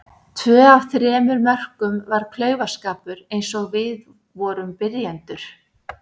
Tvö af þremur mörkum var klaufaskapur eins og við vorum byrjendur.